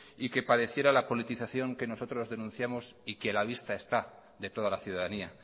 y que padeciera la politización que nosotros denunciamos y que a la vista está de toda la ciudadanía